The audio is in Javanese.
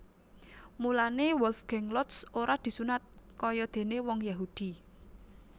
Mulané Wolfgang Lotz ora disunat kayadéné wong Yahudi